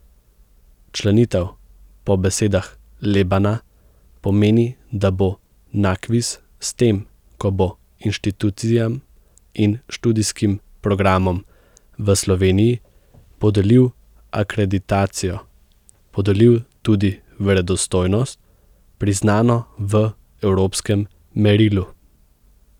Včlanitev po besedah Lebana pomeni, da bo Nakvis s tem, ko bo inštitucijam in študijskim programom v Sloveniji podelil akreditacijo, podelil tudi verodostojnost, priznano v evropskem merilu.